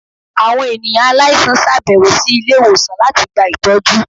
awọn eniyan aláísàn ṣabẹwo si ilé-iwósàn latí gbá itọjú